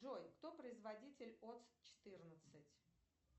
джой кто производитель отс четырнадцать